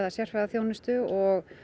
sérfræðiþjónustu og